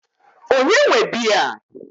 Ònye nwe biya a?